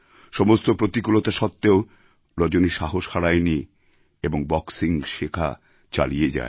সমস্ত প্রতিকূলতা সত্ত্বেও রজনী সাহস হারায়নি এবং বক্সিং শেখা চালিয়ে যায়